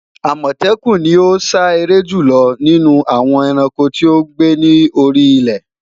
Amọtẹkun ni o sa ere julọ ninu awọn ẹranko ti o gbe ni ori ile